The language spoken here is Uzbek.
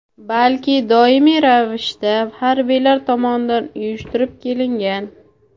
balki doimiy ravishda harbiylar tomonidan uyushtirib kelingan.